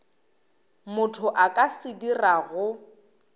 motho a ka se dirago